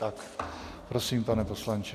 Tak prosím, pane poslanče.